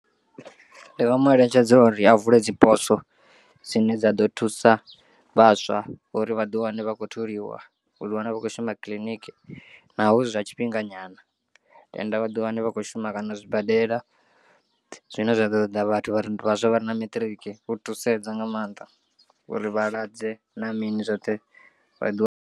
Ndi nga mu eletshedza uri a vule dziposo dzine dza ḓo thusa vhaswa uri vhaḓi wane vhakho tholiwa uḓi wana vha khou shuma kiḽiniki, naho zwi zwa tshifhinga nyana tenda vhaḓi wana vhakho shuma kana zwibadela zwine zwa ḓo ṱoḓa vhathu vhare vhaswa vha re na maṱiriki u thusedza nga maanḓa uri vhalwadze na mini zwoṱhe vhaḓi wane.